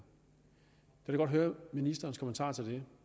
jeg godt høre ministerens kommentar til